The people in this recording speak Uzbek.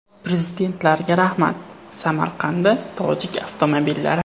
Prezidentlarga rahmat!” Samarqandda tojik avtomobillari.